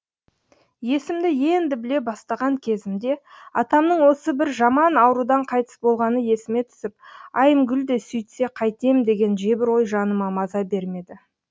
есімді енді біле бастаған кезімде атамның осы бір жаман аурудан қайтыс болғаны есіме түсіп айымгүл де сүйтсе қайтем деген жебір ой жаныма маза бермеді